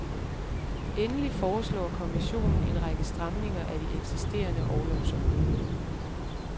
Endelig foreslår kommissionen en række stramninger af de eksisterende orlovsordninger.